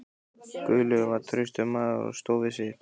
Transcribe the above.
Guðlaugur var traustur maður og stóð við sitt.